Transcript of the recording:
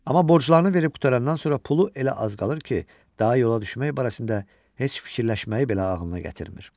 Amma borclarını verib qurtarandan sonra pulu elə az qalır ki, daha yola düşmək barəsində heç fikirləşməyi belə ağlına gətirmir.